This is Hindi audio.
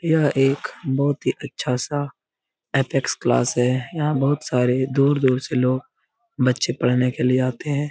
यह एक बहुत ही अच्छा सा एथिक्स क्लास है यहाँ बहुत सारे दूर-दूर से लोग बच्चे पढने के लिए आते हैं।